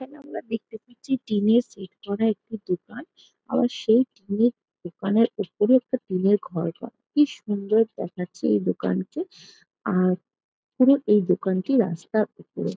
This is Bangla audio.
এখানে আমরা দেখতে পারছি টিনের একটি দোকান। আর সেই টিনের দোকানের উপরে একটা টিনের ঘর করা। কি সুন্দর দেখাচ্ছে এই দোকানকে আর পুরো এই দোকানটি রাস্তার উপরে ।